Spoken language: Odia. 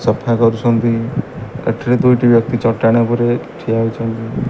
ସଫା କରୁଛନ୍ତି ଏଠିରେ ଦୁଇଟି ବ୍ୟକ୍ତି ଚଟାଣ ଉପରେ ଠିଆ ହୋଇଛନ୍ତି।